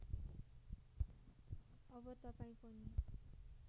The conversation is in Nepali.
अब तपाईँ पनि